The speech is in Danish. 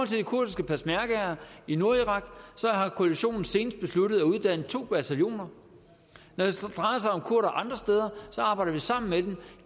til de kurdiske peshmergaer i nordirak har koalitionen senest besluttet at uddanne to bataljoner når det drejer sig om kurdere andre steder arbejder vi sammen med dem